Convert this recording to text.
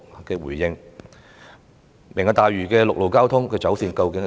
究竟"明日大嶼願景"的陸路交通走線為何？